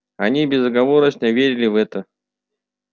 они безоговорочно верили в это